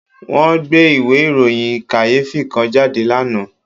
Wọ́n gbé ìwé ìròyìn kàyéfì kan jáde lánàá